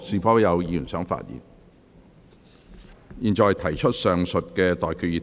我現在向各位提出上述待決議題。